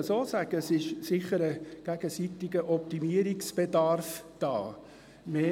Ich würde sagen, dass gegenseitiger Optimierungsbedarf vorliegt.